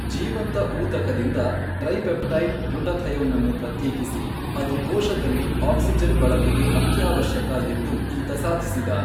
ಜೀವಂತ ಊತಕದಿಂದ ಟ್ರೈಪೆಪ್ಟೈಡ್ ಗ್ಲುಟಥಯೋನನ್ನು ಪ್ರತ್ಯೇಕಿಸಿ ಅದು ಕೋಶದಲ್ಲಿ ಆಕ್ಸಿಜನ್ ಬಳಕೆಗೆ ಅತ್ಯಾವಶ್ಯಕ ಎಂದು ಈತ ಸಾಧಿಸಿದ.